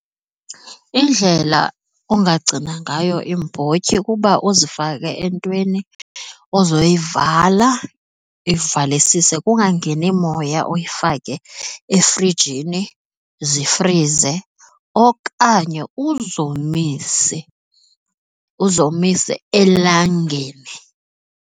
Indlela ungagcina ngayo iimbotyi kuba uzifake entweni ozayivala uyivalisise kungangeni moya uyifake efrijini zifrize okanye uzomise uzomise elangeni.